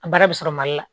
A baara bɛ sɔrɔ mali la